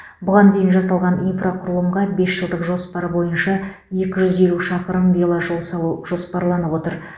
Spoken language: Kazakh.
бұған дейін жасалған инфрақұрылымға бес жылдық жоспар бойынша екі жүз елу шақырым веложол салу жоспарланып отыр